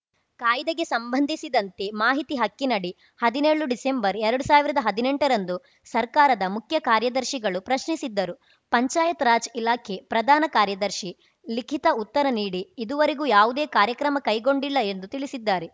ಕಾಯ್ದೆಗೆ ಸಂಬಂಧಿಸಿದಂತೆ ಮಾಹಿತಿ ಹಕ್ಕಿನಡಿ ಹದಿನೇಳು ಡಿಸೆಂಬರ್‌ ಎರಡು ಸಾವಿರ್ದಾ ಹದಿನೆಂಟರಂದು ಸರ್ಕಾರದ ಮುಖ್ಯ ಕಾರ್ಯದರ್ಶಿಗಳು ಪ್ರಶ್ನಿಸಿದ್ದರು ಪಂಚಾಯತ್‌ ರಾಜ್‌ ಇಲಾಖೆ ಪ್ರಧಾನ ಕಾರ್ಯದರ್ಶಿ ಲಿಖಿತ ಉತ್ತರ ನೀಡಿ ಇದುವರೆಗೂ ಯಾವುದೇ ಕಾರ್ಯ ಕ್ರಮ ಕೈಗೊಂಡಿಲ್ಲ ಎಂದು ತಿಳಿಸಿದ್ದಾರೆ